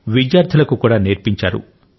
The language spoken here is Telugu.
విద్యార్థులకు కూడా నేర్పించారు